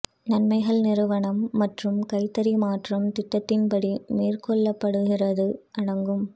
நன்மைகள் நிறுவனம் மற்றும் கைத்தறி மாற்றம் திட்டத்தின்படி மேற்கொள்ளப்படுகிறது அடங்கும்